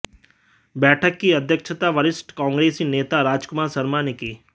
बैठक की अध्यक्षता वरिष्ठ कांग्रेसी नेता राजकुमार शर्मा ने की